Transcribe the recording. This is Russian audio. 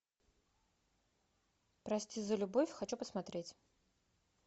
прости за любовь хочу посмотреть